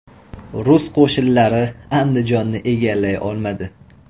Rus qo‘shinlari Andijonni egallay olmadi.